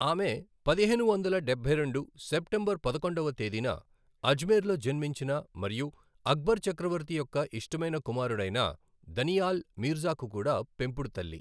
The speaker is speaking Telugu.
ఆమె, పదిహేను వందల డబ్బై రెండు సెప్టెంబర్ పదకొండవ తేదీన ఆజ్మీర్ లో జన్మించిన మరియు అక్బర్ చక్రవర్తి యొక్క ఇష్టమైన కుమారుడైన దనియాల్ మీర్జాకు కూడా పెంపుడు తల్లి.